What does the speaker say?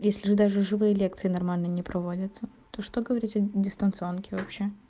если даже живые лекции нормально не проводятся то что говорить о дистанционке вообще